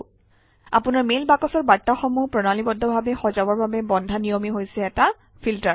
আপোনাৰ মেইল বাকচৰ বাৰ্তাসমূহ প্ৰণালীবদ্ধভাৱে সজাবৰ বাবে বন্ধা নিয়মেই হৈছে এটা ফিল্টাৰ